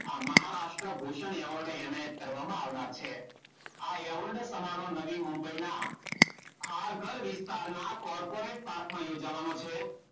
આ મહારાષ્ટ્ર ભૂષણ એવોર્ડ એનાયત કરવામાં આવનાર છે. આ એવોર્ડ સમારોહ નવી મુંબઈના કારકર વિસ્તારના કોર્પોરેટ પાર્કમાં યોજવાનો છે.